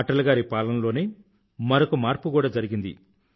అటల్ గారి పాలనలోనే మరొక మార్పు కూడా జరిగింది